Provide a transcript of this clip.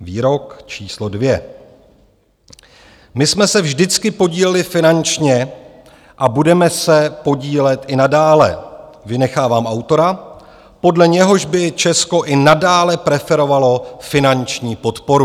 Výrok číslo dvě: My jsme se vždycky podíleli finančně a budeme se podílet i nadále - vynechávám autora, podle něhož by Česko i nadále preferovalo finanční podporu.